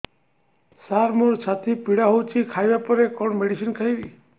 ସାର ମୋର ଛାତି ପୀଡା ହଉଚି ଖାଇବା ପରେ କଣ ମେଡିସିନ ଖାଇବି